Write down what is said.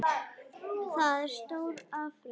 Það er stór afrek.